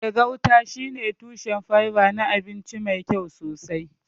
Eh, gauta shine tushen fiber na abinci mai kyau sosai.